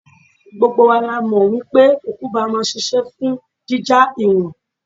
Gbogbo wa la mọ̀ wípé kùkúmbà máa ń ṣisẹ́ fún jíjá ìwọ̀n.